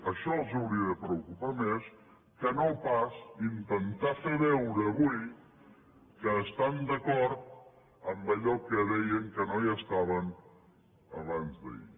això els hauria de preocupar més que no pas intentar fer veure avui que estan d’acord amb allò que deien que no hi estaven abans d’ahir